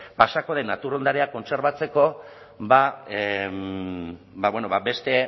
pasako den natur ondarea kontserbatzeko bueno beste